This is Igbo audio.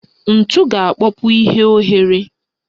Ntu ga-akpọpu ihe oghere